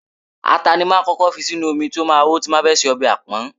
Ata ni máa ń kọ́kọ́ fi sínú omi tí ó máa hó tí mo bá fẹ́ se ọbẹ̀ apon.